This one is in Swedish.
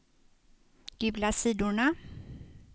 gula sidorna